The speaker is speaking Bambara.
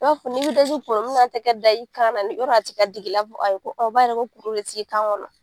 I b'a f n'i be daji kunun ŋ'a tɛ kɛ da i kan na ni yɔrɔ a tɛ ka dig'i l'a f ayi ko a b'a yira ko kuru be t'i kan ŋɔnɔ.